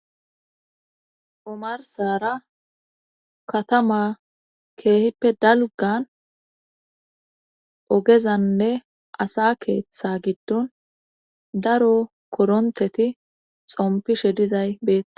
omarsara katama keehippe dalgan ogezanne asa keeththa giddon daro koronteti xompishe dizay beeta